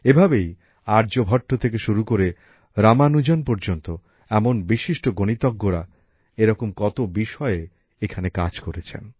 এভাবেই আর্যভট্ট থেকে শুরু করে রামানুজন পর্যন্ত এমন বিশিষ্ট গণিতজ্ঞরা এরকম কত বিষয়ে এখানে কাজ করেছেন